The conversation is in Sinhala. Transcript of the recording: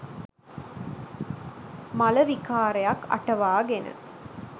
මල විකාරයක් අටවාගෙන